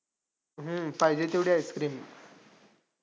हम्म पाहिजे तेवढे ice cream